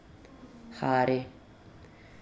Hari.